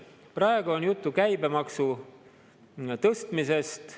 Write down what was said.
Praegu on juttu käibemaksu tõstmisest.